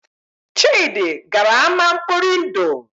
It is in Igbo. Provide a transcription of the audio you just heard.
Chidi gara ámá nkpọri ndụ